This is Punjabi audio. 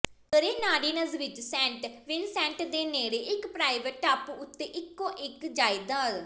ਗਰੇਨਾਡੀਨਜ਼ ਵਿਚ ਸੈਂਟ ਵਿਨਸੈਂਟ ਦੇ ਨੇੜੇ ਇਕ ਪ੍ਰਾਈਵੇਟ ਟਾਪੂ ਉੱਤੇ ਇਕੋ ਇਕ ਜਾਇਦਾਦ